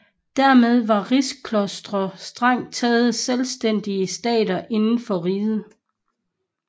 Dermed var rigsklostre strengt taget selvstændige stater inden for riget